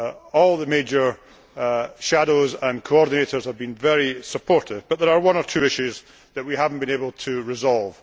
All the major shadows and coordinators have been very supportive, but there are one or two issues that we have not been able to resolve.